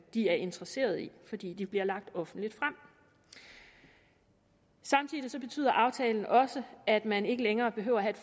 er interesserede i fordi de bliver lagt offentligt frem samtidig betyder aftalen også at man ikke længere behøver at have